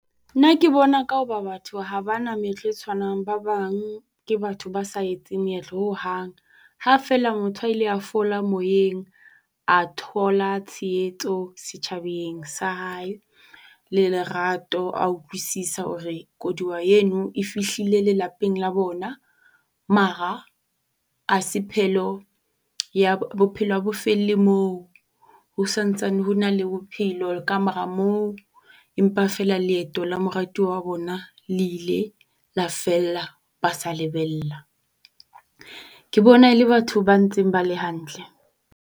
Nna ke bona ka hoba batho ha ba na meetlo e tshwanang, ba bang ke batho ba sa etseng meetlo hohang, ha feela motho a la fola moyeng, a thola tshietso setjhabeng sa hae le lerato. A utlwisisa hore koluwa eno e fihlile lelapeng la bona mara ha se phelo ya bophelo ha bo felle moo. Ho santsane ho na le bophelo ka mora moo empa feela leeto la moratuwa wa bona le ile la fela ba sa lebella. Ke bona ele batho ba ntse ba le hantle.